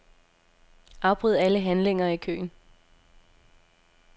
Afbryd alle handlinger i køen.